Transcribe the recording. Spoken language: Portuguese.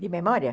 De memória?